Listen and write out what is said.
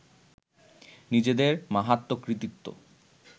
নিজেদের মাহাত্ম্য কৃতিত্ব